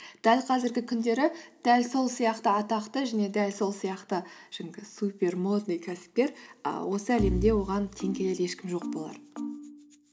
дәл қазіргі күндері дәл сол сияқты атақты және дәл сол сияқты жаңағы супер модный кәсіпкер ііі осы әлемде оған тең келер ешкім жоқ болар